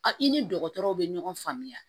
A i ni dɔgɔtɔrɔw bɛ ɲɔgɔn faamuya